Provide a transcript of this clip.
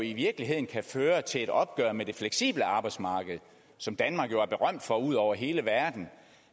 i virkeligheden kan føre til et opgør med det fleksible arbejdsmarked som danmark jo er berømt for ude over hele verden